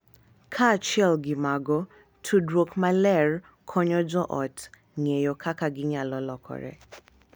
Kaachiel gi mago, tudruok maler konyo joot ng’eyo kaka ginyalo lokore